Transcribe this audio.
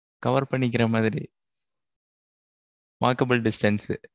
cover பண்ணிக்கிற மாதிரி. walkable distance உஹ்